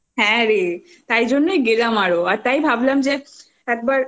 হ্যাঁ রে তাইজন্যই গেলাম আরও আর তাই ভাবলাম যে একবার